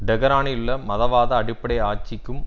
டெஹரானிலுள்ள மதவாத அடிப்படை ஆட்சிக்கும்